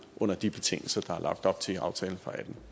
under de betingelser der er lagt op til i aftalen